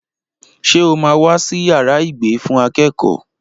Ṣé o máa wá sí yàrá ìgbé fún akẹ́kọ̀ọ́?